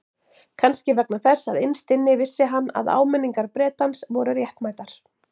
Kannski vegna þess að innst inni vissi hann að áminningar Bretans voru réttmætar.